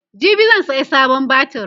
jibi zan saya sabon batir